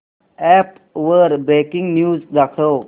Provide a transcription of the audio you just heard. app वर breaking news दाखव